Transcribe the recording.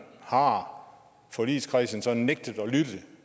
har forligskredsen så nægtet at lytte